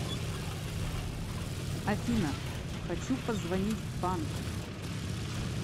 афина хочу позвонить в банк